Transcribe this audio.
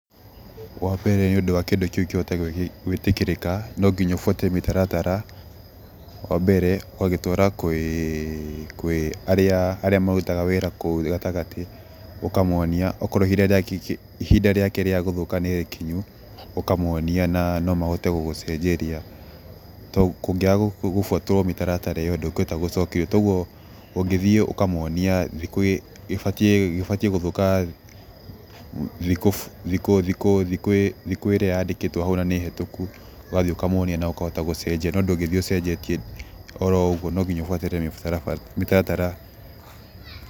Wambere nĩũndũ wa kĩndũ kĩu kĩhote gwĩtĩkĩrĩka nĩũbuate mĩtaratara. Wa mbere ũgagĩtwara kwĩ arĩa marutaga wĩra kũu gatagatĩ ũkamonia akorwo ihinda rĩake rĩa gũthũka nĩ rĩkinyu ũkamonia na mahote gũgũcenjeria kũngĩaga gũbwatwo mĩtaratara ĩo ndũngĩhota gũcenjia ũngĩthiĩ ũkamwonia gĩbatiĩ gũthũka thikũ ĩrĩa yandĩkĩtwo hau kana nĩ hũtũku ũgathiĩ ũkamwonia na ũgacenjia no ndũngĩthiĩ ũcenjetie oroũgwo nonginya ũbuatĩ mĩtaratara.